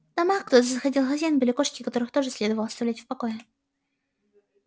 в домах куда заходил хозяин были кошки которых тоже следовало оставлять в покое